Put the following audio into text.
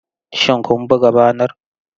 Shin kun buga banar?